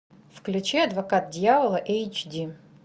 включи адвокат дьявола эйч ди